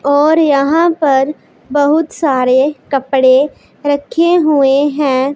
और यहां पर बहुत सारे कपड़े रखे हुए हैं।